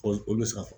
olu bɛ safun